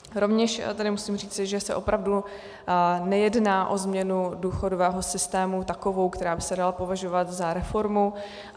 Rovněž tedy musím říci, že se opravdu nejedná o změnu důchodového systému takovou, která by se dala považovat za reformu.